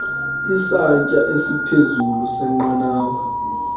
isantsya esiphezulu senqanawa